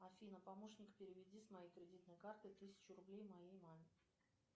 афина помощник переведи с моей кредитной карты тысячу рублей моей маме